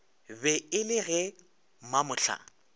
be e le ge mamohla